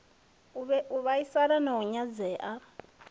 u vhaisala na u nyadzea